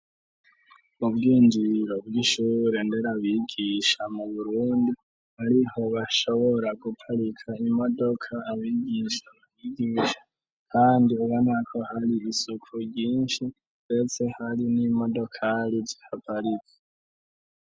Ubwinjiro bw'ishure nderabigisha mu burundi, ariho bashobora guparika imodoka abigisha mahigisha, kandi ubo nako hari isuko ryinshi mbetse hari n'imodokari zihaparizi.